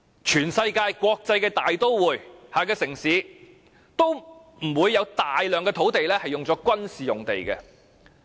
全世界的國際大都會及城市，都不會有大量土地用作軍事用地。